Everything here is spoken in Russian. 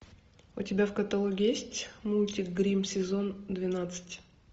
у тебя в каталоге есть мультик гримм сезон двенадцать